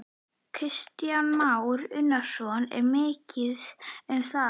Kristján Már Unnarsson: Er mikið um það?